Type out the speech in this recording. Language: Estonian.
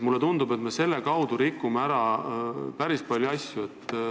Mulle tundub, et me rikume ära päris palju asju.